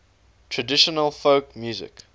traditional folk music